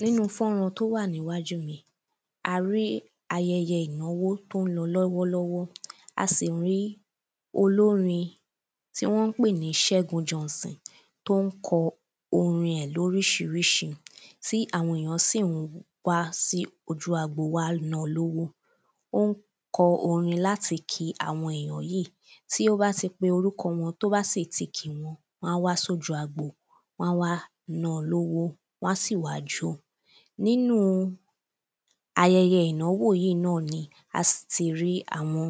nínu fọ́ran tó wà níwájú mi, a rí ayẹyẹ ìnáwó tí ón lọ lọ́wọ́lọ́wọ́, a sì rí olórin tí wọ́n pè ní Segun Johnson tó n kọ orin ẹ̀ lorísirísi tí àwọn èyàn sín-ìn wáá sí ojú agbo wá na lówó, ó n kọ orin láti kí àwọn ènìyàn yìí, tí ó bá ti pe orúkọ wọn tí ó bá sì tí kì wọ́n, wọ́n á wá sójú agbo wọ́n á wá na lówó, wọ́n á sì wá jó, ayẹyẹ ìnáwó yìí náà ni a sì ti rí áwọn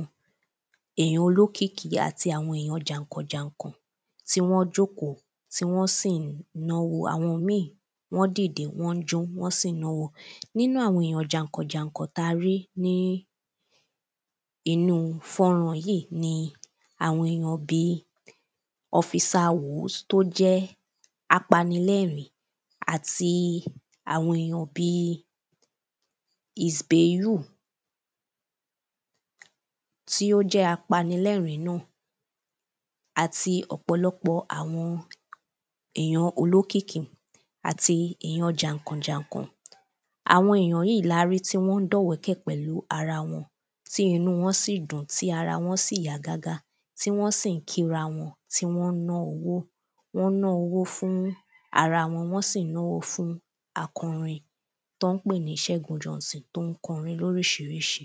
èyàn olókìkí àti àwọn èyàn jànkọ̀-jànkọ̀ tí wọ́n jókòó tí wọ́n sì n náwó, àwọn míì, wọ́n dìde, wọ́n n jó, wọ́n sì n náwó, nínu àwọn èyàn jànkọ̀-jànkọ̀ tí a rí ní inúu fọ́ran yìí ni àwọn èyàn bíi, ọfisa wǒs tí ó jẹ́ apanilẹ̀rín àti àwọn èyàn bíi isbeyu tí ó jẹ́ apanilẹ̀rín náà àti ọ̀pọ̀lọpọ̀ àwọn èyàn olókìkí àti èyàn jànkọ̀-jànkọ̀ àwọn èyàn yí larí tí wọ́n dọ̀wọ́kẹ̀ pẹ̀lú arawọn, tí inú wọn síì dùn, tí arawọn síì yá gágá, tí wọ́n sí n kí ra wọn, tí wọ́n ná owó, wọ́n ná owó fún arawọn, wọ́n sì n náwó fún akọrin tí wọ́n pè ní Sẹgun Johnson tí ón kọrin lorísirísi